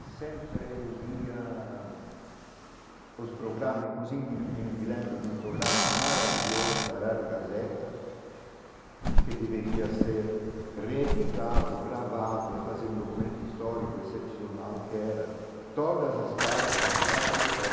E sempre eu via os programas, inclusive me me lembro de um programa maravilhoso da Rádio Gazeta, que deveria ser reeditado, gravado e fazer um documento histórico excepcional que era Todas as caras as tardes, às,